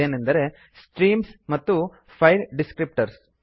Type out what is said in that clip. ಅದೇನೆಂದರೆ ಸ್ಟ್ರೀಮ್ಸ್ ಮತ್ತು file descriptor ಗಳು